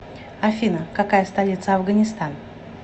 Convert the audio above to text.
афина какая столица афганистан